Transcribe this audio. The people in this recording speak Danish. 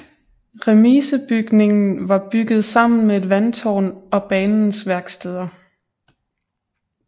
Remisebygningen var bygget sammen med et vandtårn og banens værksteder